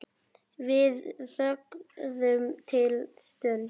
Við þögðum litla stund.